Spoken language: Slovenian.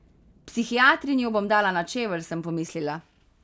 Psihiatrinjo bom dala na čevelj, sem pomislila.